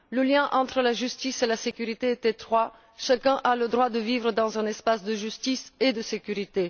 Le lien entre la justice et la sécurité est étroit, chacun a le droit de vivre dans un espace de justice et de sécurité.